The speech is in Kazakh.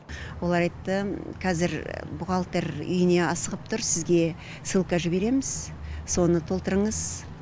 ол айтты қазір бухгалтер үйіне асығып тұр сізге ссылка жібереміз соны толтырыңыз